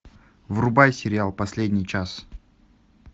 врубай сериал последний час